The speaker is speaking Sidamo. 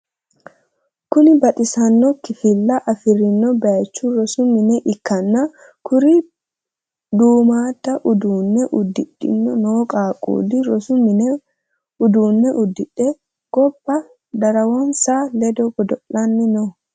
Kuni baxissanno kifilla afirinno bayich rosu mine ikkanna, kuri duummadda uduunne udidhe no qaaqqulli rosu mini uduunne udire gobba darawonsa ledo godo'lanni no.